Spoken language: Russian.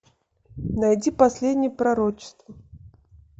найди последнее пророчество